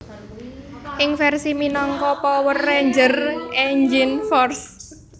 Ing versi minangka Power Rangers Engine Force